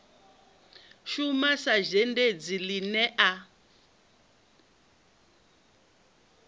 shuma sa zhendedzi ine a